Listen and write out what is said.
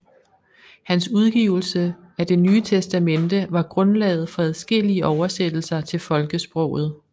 Hans udgivelse af Det Nye Testamente var grundlaget for adskillige oversættelser til folkesproget